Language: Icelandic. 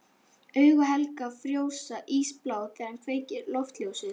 Augu Helga frjósa, ísblá þegar hann kveikir loftljósið.